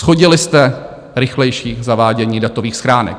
Shodili jste rychlejší zavádění datových schránek.